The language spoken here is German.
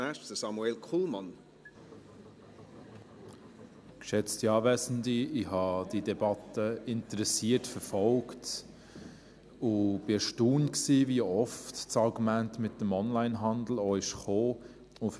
Ich habe diese Debatte interessiert verfolgt und war erstaunt, wie oft das Argument mit dem Onlinehandel vorgekommen ist.